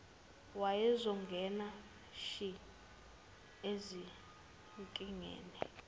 wayezongena shi ezinkingeni